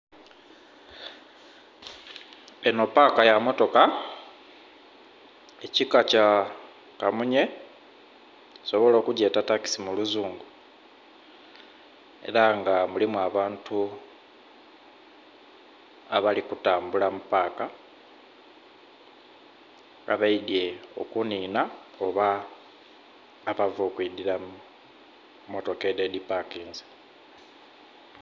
Enho paka yemotoka ekika kyakamunye osobola okugyeta takisi muluzungu era nga mulimu abantu abali kutambula mupaka abeidhye okunhinha oba abava okwidhira mumotoka edho edhipakinze.